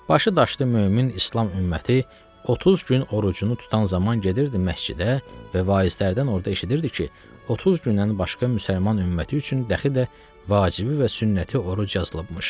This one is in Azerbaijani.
Başı daşdı mömin İslam ümməti 30 gün orucunu tutan zaman gedirdi məscidə və vaizlərdən orda eşidirdi ki, 30 gündən başqa müsəlman ümməti üçün dəxi də vacibi və sünnəti oruc yazılıbmış.